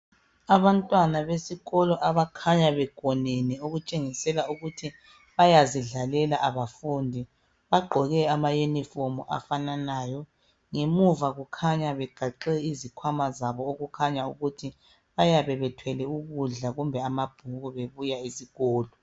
Abantwana besikolo abakhanya begonene okutshengisela ukuthi bayazidlalela abafundi bagqoke amayunifomu afananayo ngemuva kukhanya begaxe izikhwama zabo okukhanya ukuthi bayabe bethwele ukudla kumbe amabhuku bebuya esikolo.